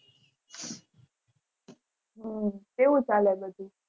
હમ કેવું ચાલે બધું